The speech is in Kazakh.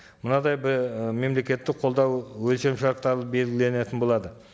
мынадай мемлекеттік қолдау өлшем шарттары белгіленетін болады